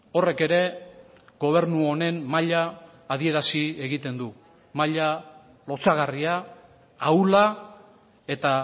horrek ere gobernu honen maila adierazi egiten du maila lotsagarria ahula eta